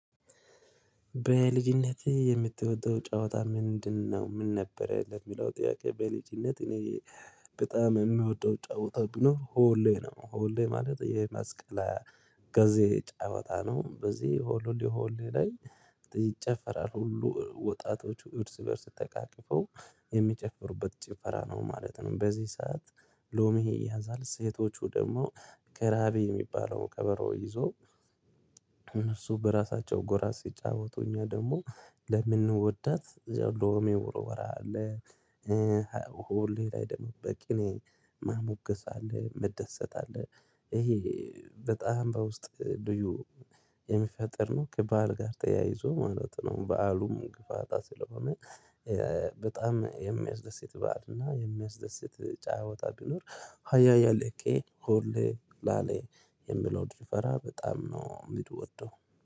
በልጅነት የምትወደው ጫወታ ምንድነው? ምን ነበር ለሚለው ጥያቄ በልጅነት እኔ በጣም የምወደው ጫወታ ቢኖር ሆሌ ነው ሆሌ ማለት የማስቀለ ጊዜ ጫወታ ነው በዚህ ሆልሎ ሆሌ ላይ ይጨፈራል ሁሉ ወጣቶቹ እርስ በእርስ ተቃቅፈው የሚጨፍሩበት ጭፈራ ነው ማለት ነው። በዚህ ሰዓት ሎሚ ይያዛል ሴቶቹ ደግሞ ከራቤ የሚባለውን ከበሮ ይዞ እነሱ በራሳቸው ጎራ ሲጫወቱ እኛ ደግሞ ለምንወዳት እዛው ሎሜ ወርወራ አለ። ሆሌ ላይ ደግሞ በቅኔ ማሞገስ አለ መደሰት አለ። ይሄ በጣም በውስጥ ዱዩ የሚፈጠር ነው ከበዓል ጋር ተያይዞ ማለት ነው። በዓሉም ግፋታ ስለሆነ በጣም የሚያስደስት ባሀል እና የሚያስደስት ጫ ወጣ ቢኖር ሃያ ያለቀ ሆልሌ ላሌ የሚለው ጭፈራ በጣም ነው የሚንወደው